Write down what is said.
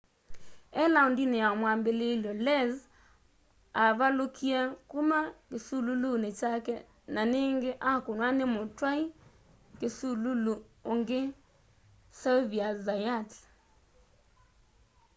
e laũndini ya mwambililyo lenz avalũkie kuma kisululuni kyake na ningi akũnwa ni mutwai kisululu ungi xavier zayat